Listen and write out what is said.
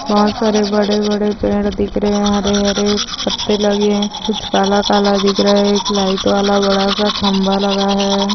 बहुत सारे बड़े बड़े पेड़ दिख रहे है हरे हरे पत्ते लगे है कुछ काला काला दिख रहा है एक लाइट वाला बडासा खंबा लगा है।